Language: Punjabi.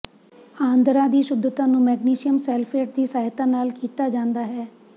ਆਂਦਰਾਂ ਦੀ ਸ਼ੁੱਧਤਾ ਨੂੰ ਮੈਗਨੇਸ਼ੀਅਮ ਸੈਲਫੇਟ ਦੀ ਸਹਾਇਤਾ ਨਾਲ ਕੀਤਾ ਜਾਂਦਾ ਹੈ